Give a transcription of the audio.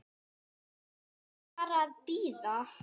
Við erum bara að bíða.